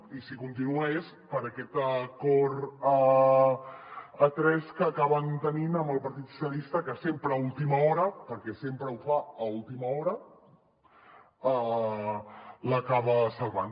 i si hi continua és per aquest acord a tres que acaben tenint amb el partit socialistes que sempre a última hora perquè sempre ho fa a última hora l’acaba salvant